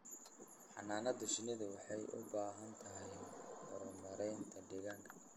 Xannaanada shinnidu waxay u baahan tahay maaraynta deegaanka.